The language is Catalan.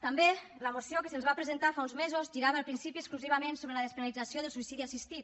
també la moció que se’ns va presentar fa uns mesos girava al principi exclusivament sobre la despenalització del suïcidi assistit